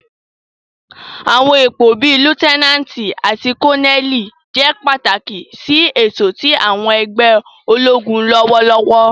Àwọn ipo bii Liutenanti ati Koneli jẹ pataki si eto ti àwọn ẹgbẹ ologun lọwọlọwọ.